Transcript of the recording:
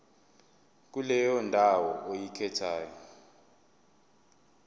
kuleyo ndawo oyikhethayo